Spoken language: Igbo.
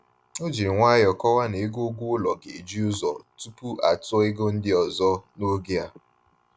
O jiri nwayọ kọwaa n'ego ụgwọ ụlọ ga-eji ụzọ tupu atụọ ego ndị ọzọ n'oge a